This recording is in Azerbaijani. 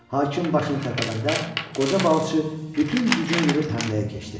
Hakim başını tərpədəndə qoca balıqçı bütün gücünü yığıb həmləyə keçdi.